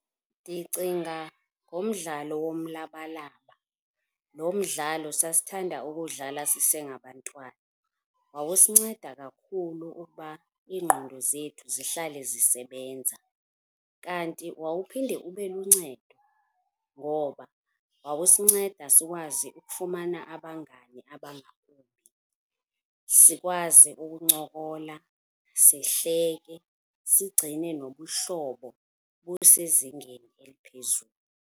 Ndicinga ngomdlalo womlabalaba. Lo mdlalo sasithanda ukuwudlala sisengabantwana. Wawusinceda kakhulu ukuba iingqondo zethu zihlale zisebenza. Kanti wawuphinde ube luncedo ngoba wawusinceda sikwazi ukufumana abangani abangabo, sikwazi ukuncokola, sihleke, sigcine nobuhlobo busezingeni eliphezulu.